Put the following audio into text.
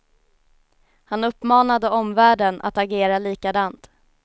Han uppmanade omvärlden att agera likadant.